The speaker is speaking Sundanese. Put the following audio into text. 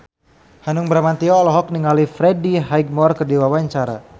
Hanung Bramantyo olohok ningali Freddie Highmore keur diwawancara